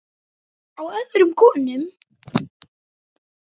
Á öðrum konum.